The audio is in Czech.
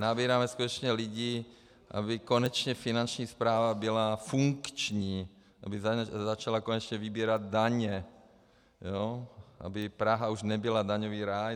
Nabíráme skutečně lidi, aby konečně Finanční správa byla funkční, aby začala konečně vybírat daně, aby Praha už nebyla daňový ráj.